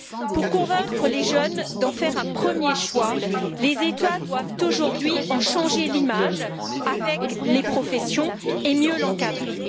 Pour convaincre les jeunes d'en faire un premier choix, les États doivent aujourd'hui en changer l'image avec les professions et mieux l'encadrer.